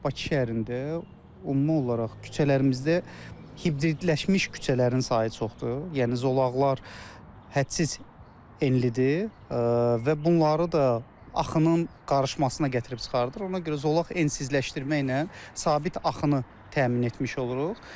Bakı şəhərində ümumi olaraq küçələrimizdə hibridləşmiş küçələrin sayı çoxdur, yəni zolaqlar hədsiz enlidir və bunları da axının qarışmasına gətirib çıxarır, ona görə zolaq ensizləşdirməklə sabit axını təmin etmiş oluruq.